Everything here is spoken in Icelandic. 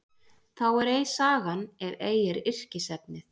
Þá er ei sagan ef ei er yrkisefnið.